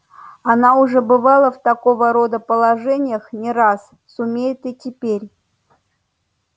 она уже бывала в такого рода положениях не раз сумеет и теперь